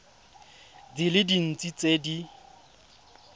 di le dintsi tse di